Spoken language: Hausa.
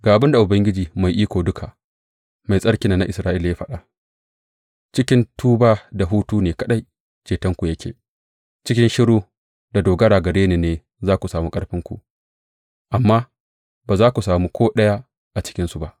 Ga abin da Ubangiji Mai Iko Duka, Mai Tsarkin nan na Isra’ila ya faɗa, Cikin tuba da hutu ne kaɗai cetonku yake, cikin shiru da dogara gare ni ne za ku sami ƙarfinku, amma ba za ku sami ko ɗaya a cikinsu ba.